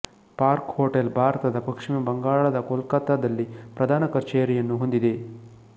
park hotel ಭಾರತದ ಪಶ್ಚಿಮ ಬಂಗಾಳದ ಕೊಲ್ಕತ್ತಾದಲ್ಲಿ ಪ್ರಧಾನ ಕಚೇರಿಯನ್ನು ಹೊಂದಿದೆ